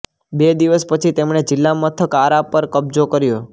બે દિવસ પછી તેમણે જિલ્લા મથક આરા પર કબજો કર્યો